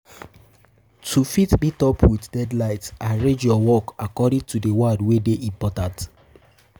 To fit um meet up with deadlines arrange your um work according to the one wey de important um